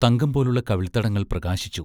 തങ്കം പോലുള്ള കവിൾത്തടങ്ങൾ പ്രകാശിച്ചു.